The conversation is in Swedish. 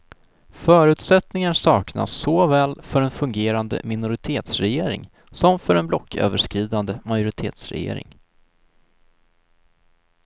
Förutsättningar saknas såväl för en fungerande minoritetsregering som för en blocköverskridande majoritetsregering.